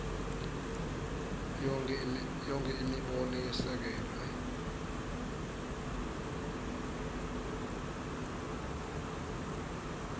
yonkhe imibono yesekelwe